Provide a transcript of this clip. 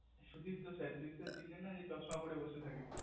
Supipto sir তুই তো চিনলিনা যে চশমা পরে বসে থাকে